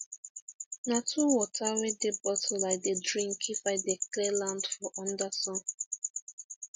na two water wey dey bottle i dey drink if i dey clear land for under sun